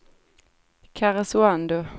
Karesuando